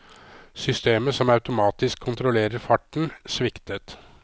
Systemet som automatisk kontrollerer farten, sviktet.